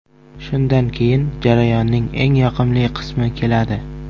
Shundan keyin jarayonning eng yoqimli qismi keladi.